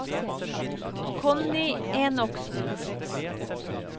Connie Enoksen